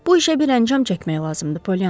Bu işə bir əncam çəkmək lazımdır, Polyana.